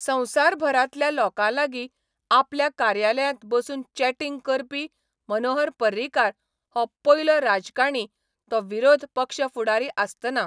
संवसारभरांतल्या लोकांलागीं आपल्या कार्यालयांत बसून चॅटिंग करपी मनोहर पर्रीकार हो पयलो राजकाणी तो विरोध पक्ष फुडारी आसतना.